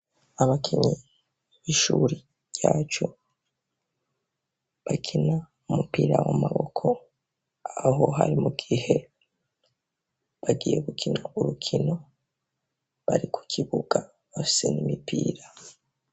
Abakinyi y'ishuri yacu bakina umupira w'amaboko aho hari mu gihe bagiye gukina urukino bari ku kibuga bafise n'imipira.